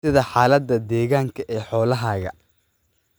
Waa sidee xaaladda deegaanka ee xoolahaaga?